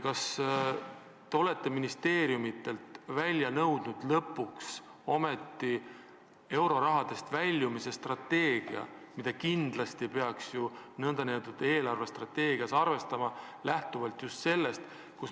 Kas te olete ministeeriumidelt lõpuks ometi nõudnud euroraha kasutamisest väljumise strateegiat, mida kindlasti peaks ju riigi eelarvestrateegias arvestama?